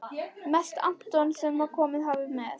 Mest Anton sem komið hafði með